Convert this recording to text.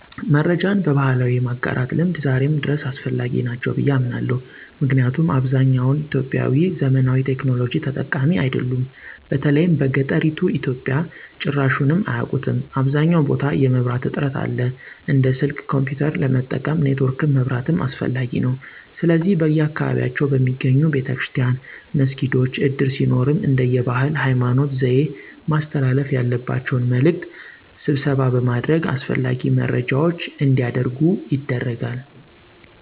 መረጃን በባህላዊ የማጋራት ልምድ ዛሬም ድረስ አስፈላጊ ናቸው ብየ አምናለሁ። ምክንያቱም አብዛኛውን ኢትዮጵያዊ ዘመናዊ ቴክኖሎጂ ተጠቃሚ አይደሉም። በተለይም በገጠሪቱ ኢትዮጵያ ጭራሹንም አያቁትም .አብዛኛውን ቦታ የመብራት እጥረት አለ። እንደ ስልክ፣ ኮንፒዩተር ለመጠቀም ኔትወርክም መብራትም አስፈላጊ ነዉ። ስለዚህ በየአካባቢያቸው በሚገኘው ቤተክርስቲያን፣ መስጊዶች፣ እድር ሲኖርም እንደየ ባህል፣ ሀይማኖት፣ ዘዬ ማስተላለፍ ያለባቸውን መልዕክት ስብሰባ በማድረግ አስፈላጊ መረጃዎች አንዲያደርጉ ይደረጋል።